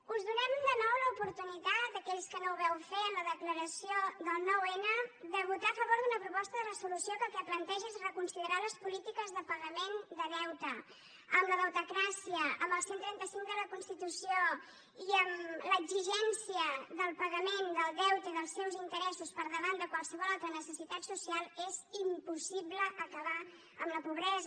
us donem de nou l’oportunitat a aquells que no ho vau fer en la declaració del noun de votar a favor d’una proposta de resolució que el que planteja és reconsiderar les polítiques de pagament de deute amb la deutecràcia amb el cent i trenta cinc de la constitució i amb l’exigència del pagament del deute i dels seus interessos per davant de qualsevol altra necessitat social és impossible acabar amb la pobresa